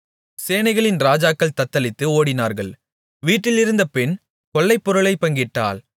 சேனைகளின் ராஜாக்கள் தத்தளித்து ஓடினார்கள் வீட்டிலிருந்த பெண் கொள்ளைப்பொருளைப் பங்கிட்டாள்